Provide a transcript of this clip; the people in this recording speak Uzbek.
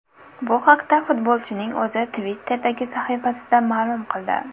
Bu haqda futbolchining o‘zi Twitter’dagi sahifasida ma’lum qildi .